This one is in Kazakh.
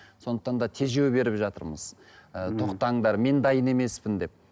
сондықтан да тежеу беріп жатырмыз ы тоқтаңдар мен дайын емеспін деп